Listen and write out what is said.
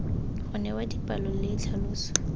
go newa dipalo le tlhaloso